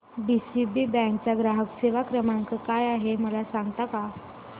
DCB bank चा ग्राहक सेवा क्रमांक काय आहे मला सांगता का